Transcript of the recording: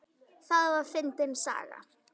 Það var fyndin saga.